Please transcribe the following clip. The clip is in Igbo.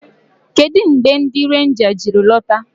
Kedụ mgbe ndị renja jiri lọta?